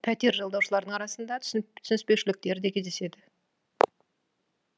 пәтер жалдаушылардың арасында түсініспеушіліктер де кездеседі